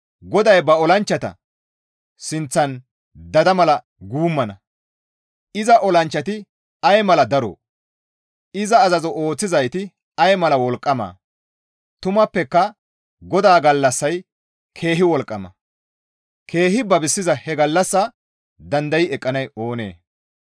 GODAY ba olanchchata sinththan dada mala guummana; iza olanchchati ay mala daroo! Iza azazo ooththizayti ay mala wolqqamaa! tumappeka GODAA gallassay keehi wolqqama; keehi babisiza he gallassaa danday eqqanay oonee?